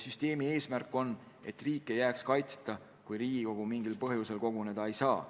Eesmärk on, et riik ei jääks kaitseta, kui Riigikogu mingil põhjusel koguneda ei saa.